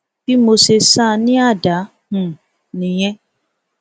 bí mo ṣe sá a ní àdá um nìyẹn